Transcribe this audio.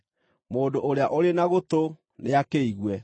Mũndũ ũrĩa ũrĩ na gũtũ nĩakĩigue.